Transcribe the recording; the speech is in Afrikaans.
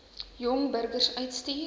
jong burgers uitstuur